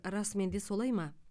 расымен де солай ма